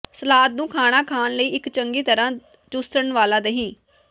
salad ਨੂੰ ਖਾਣਾ ਖਾਣ ਲਈ ਇਕ ਚੰਗੀ ਤਰ੍ਹਾ ਚੂਸਣ ਵਾਲਾ ਦਹੀਂ